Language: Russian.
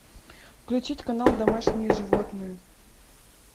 включить канал домашние животные